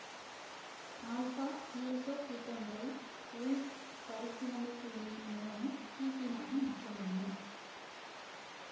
alpha ஈரசோகீட்டோன்களை Wolff மறுசீரமைப்பு வினையின் மூலமும் கீட்டீனாக மாற்றமுடியும்